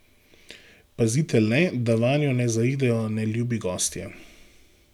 Pazite le, da vanjo ne zaidejo neljubi gostje.